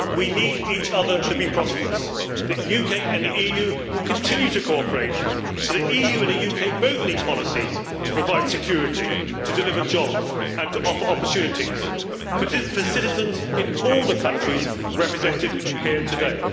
We need each other to be prosperous, and the UK and the EU will continue to cooperate. The EU and the UK both need policies to provide security, to deliver jobs and to offer opportunities for citizens in all the countries represented here today.